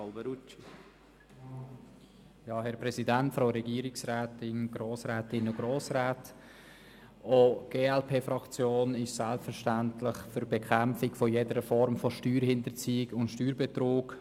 Auch die glp-Fraktion ist selbstverständlich für die Bekämpfung jeder Form von Steuerhinterziehung und Steuerbetrug.